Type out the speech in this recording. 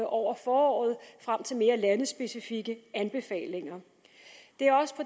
over foråret frem til mere landespecifikke anbefalinger